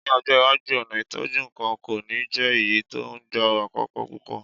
Ní ọjọ́ iwájú, ọ̀nà ìtọ́jú nǹkan kò ní jẹ́ èyí tó ń gba àkókò púpọ̀.